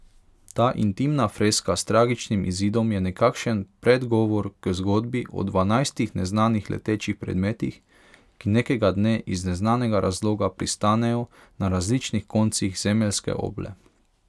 Ta intimna freska s tragičnim izidom je nekakšen predgovor k zgodbi o dvanajstih neznanih letečih predmetih, ki nekega dne iz neznanega razloga pristanejo na različnih koncih zemeljske oble.